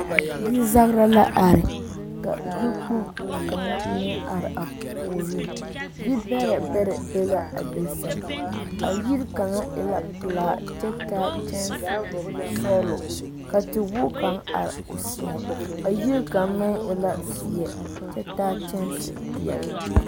Yizagera la are ka yikpoŋ kaŋa meŋ are a puoriŋ, yi bɛrɛ bɛrɛ be la a be seŋ, a yiri kaŋa e la pelaa kyɛ taa kyɛnse sɔɔlɔ ka tewogi kaŋ are o seɛŋ a yiri kaŋ meŋ e la zeɛ kyɛ taa kyɛnse peɛle.